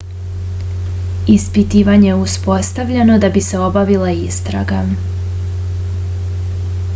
ispitivanje je uspostavljeno da bi se obavila istraga